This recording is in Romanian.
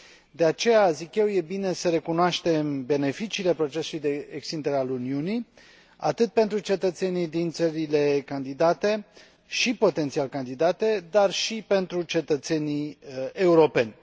De aceea, zic eu, e bine să recunoaștem beneficiile procesului de extindere a Uniunii atât pentru cetățenii din țările candidate și potențial candidate, cât și pentru cetățenii europeni.